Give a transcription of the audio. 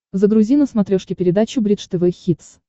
загрузи на смотрешке передачу бридж тв хитс